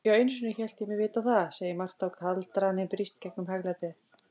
Já, einusinni hélt ég mig vita það, segir Marta og kaldraninn brýst gegnum hæglætið.